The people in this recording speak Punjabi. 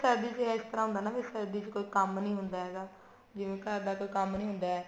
ਸਰਦੀ ਚ ਇਸ ਤਰ੍ਹਾਂ ਹੁੰਦਾ ਨਾ ਵੀ ਸਰਦੀ ਚ ਕੋਈ ਕੰਮ ਨੀ ਹੁੰਦਾ ਹੈਗਾ ਜਿਵੇਂ ਘਰ ਦਾ ਕੋਈ ਕੰਮ ਨੀ ਹੁੰਦਾ ਹੈ